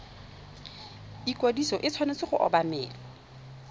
ikwadiso e tshwanetse go obamelwa